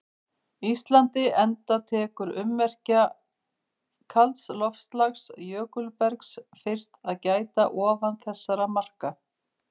Íslandi enda tekur ummerkja kalds loftslags- jökulbergs- fyrst að gæta ofan þessara marka.